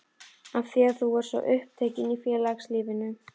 Af því þú varst svo upptekin í félagslífinu?